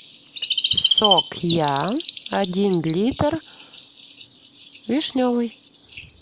сок я один литр вишневый